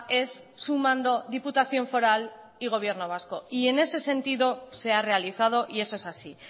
es sumando diputación foral y gobierno vasco en ese sentido se ha realizado y eso es así